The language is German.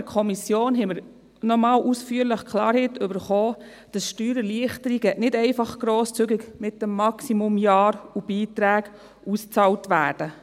In der Kommission erhielten wir noch einmal ausführlich Klarheit darüber, dass Steuererleichterungen nicht einfach grosszügig für die maximale Anzahl Jahre und mit dem Maximalbetrag ausbezahlt werden.